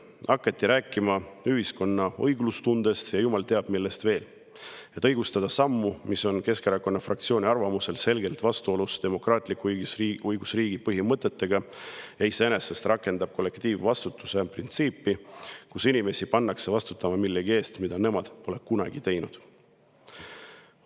Siis hakati rääkima ühiskonna õiglustundest ja jumal teab millest veel, et õigustada sammu, mis on Keskerakonna fraktsiooni arvates selgelt vastuolus demokraatliku õigusriigi põhimõtetega ja iseenesest rakendab kollektiivvastutuse printsiipi, mille puhul inimesi pannakse vastutama millegi eest, mida nad pole kunagi teinud.